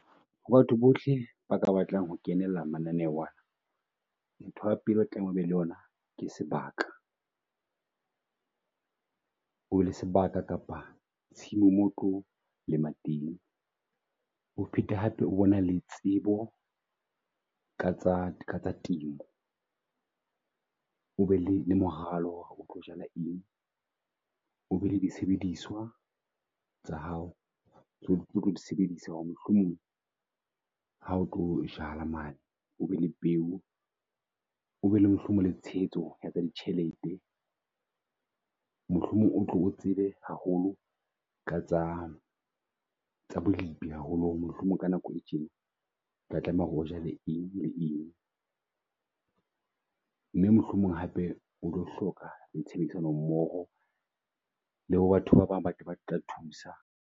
Ho batho bohle ba ka batlang ho kenela mananeho ana ntho ya pele o tlameha o be le yona, ke sebaka. O le sebaka kapa tshimo moo otlo lema teng o phete hape o bona le tsebo ka tsa temo o be le moralo hore o tlo jala eng. O be le di sebediswa tsa hao tseo o tlo di sebedisa hore mohlomong ha o tlo jala mane o be le peo. Obe le mohlomong le tshehetso ya tsa di tjhelete. Mohlomong o tlo o tsebe haholo ka tsa tsa bolipi haholo hore mohlomong ka nako e tjena o tla tlameha hore o ja le eng le eng mme mohlomong hape o tlo hloka tshebedisano mmoho le batho ba bang batho ba tla thusa.